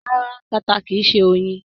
Ràrá, tata kìí ṣe oyin